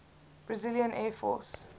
brazilian air force